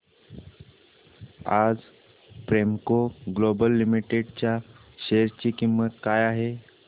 आज Premco global limited च्या share ची किंमत काय आहे